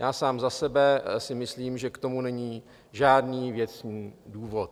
Já sám za sebe si myslím, že k tomu není žádný věcný důvod.